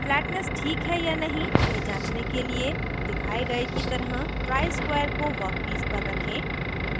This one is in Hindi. फ्लैट्नेस ठीक है या नहीं यह जांचने के लिए दिखाए गए की तरह ट्राइस्क्वायर को वर्कपीस पर रखें